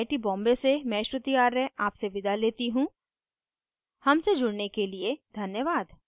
I I T Bombay से मैं श्रुति आर्य आपसे विदा लेती हूँ हमसे जुड़ने के लिए धन्यवाद